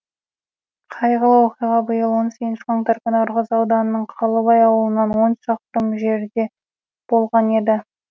қайғылы оқиға биыл он сегізінші қаңтар күні ырғыз ауданының қалыбай ауылынан он шақырым жерде болған еді